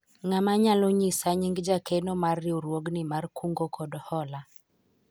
ng'ama nyalao nyisa nying jakeno mar riwruogni mar kungo kod hola ?